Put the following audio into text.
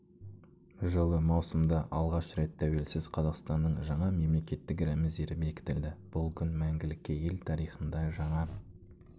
жылы маусымда алғаш рет тәуелсіз қазақстанның жаңа мемлекеттік рәміздері бекітілді бұл күн мәңгілікке ел тарихында жаңа